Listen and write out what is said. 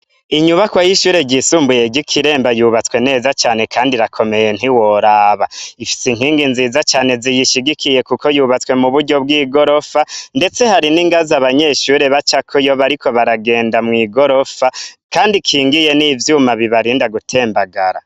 Inyubakwa y'ishure ryisumbuye ry'ikiremba yubatswe neza cane kandi irakomeye ntiworaba, ifise inkingi nziza cane ziyishigikiye kuko yubatswe muburyo bw'igorofa ,ndetse hari n'ingazi abanyeshure bacako iyo bariko baragenda mw'igirofa ,kandi ikingiye n'ivyuma bibarinda gutembagara.